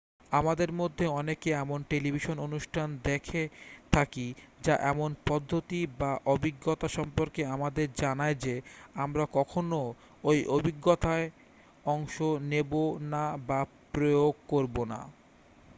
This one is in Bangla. আমাদের মধ্যে অনেকে এমন টেলিভিশন অনুষ্ঠান দেখে থাকি যা এমন পদ্ধতি বা অভিজ্ঞতা সম্পর্কে আমাদের জানায় যে আমরা কখনও ওই অভিজ্ঞতায় অংশ নেব না বা প্রয়োগ করব না